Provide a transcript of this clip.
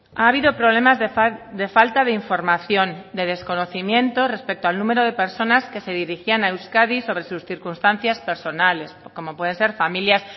ha habido problemas de falta de información de desconocimiento respecto al número de personas que se dirigían a euskadi sobre sus circunstancias personales como pueden ser familias